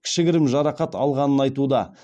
кішігірім жарақат алғанын айтуда